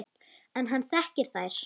En hann þekkir þær.